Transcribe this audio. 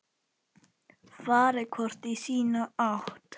Farið hvort í sína áttina.